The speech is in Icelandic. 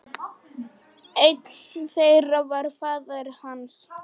Einn þeirra var faðir hans.